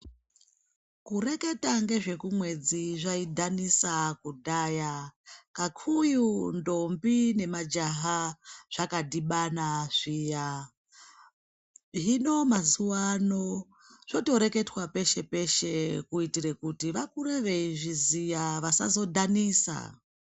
Kureketa ngezvekumwedzi zvaidhanisa kudhaya kakuyu ndombi nemajaha zvakadhibana zviya. Hino mazuwano zvotoreketwa peshe-pese kuitire kuti vakure veizviziya vasazodhanisa.